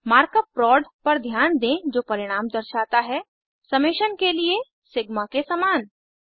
mark up प्रोड पर ध्यान दें जो परिणाम दर्शाता है समेशन के लिए सिग्मा के समान